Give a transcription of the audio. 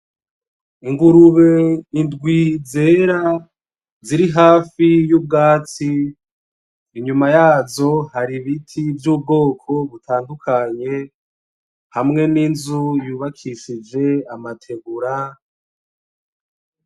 Ingurube indwi zera ziri hafi y'ubwatsi, inyuma yazo hari ibiti vy'ubwoko butandukanye, hamwe n'inzu yubakishijwe amategura.